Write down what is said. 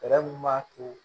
Fɛɛrɛ min b'a to